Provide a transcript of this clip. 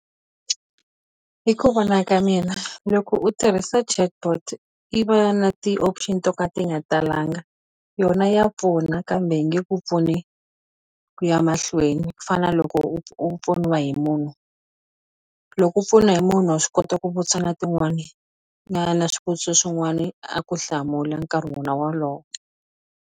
Hi ku vona ka mina loko u tirhisa chatbot i va na ti-option to ka ti nga talanga yona ya pfuna kambe yi nge ku pfuni ku ya mahlweni ku fana loko u u pfuniwa hi munhu loko u pfuna hi munhu wa swi kota ku vutisa na tin'wani na na swivutiso swin'wani a ku hlamula nkarhi wona wolowo.